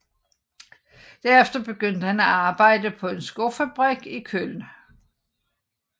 Derefter begyndte han at arbejde på en skofabrik i Köln